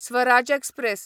Swaraj express